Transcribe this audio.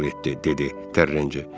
dedi Terenci.